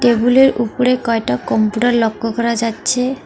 টেবিলের উপরে কয়টা কম্পিউটার লক্ষ করা যাচ্ছে।